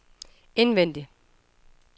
indvendig